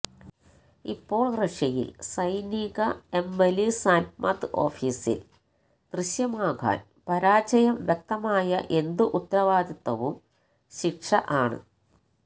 ഇപ്പോൾ റഷ്യയിൽ സൈനിക എംലിസ്ത്മെംത് ഓഫീസിൽ ദൃശ്യമാകാൻ പരാജയം വ്യക്തമായ എന്തു ഉത്തരവാദിത്തവും ശിക്ഷ ആണ്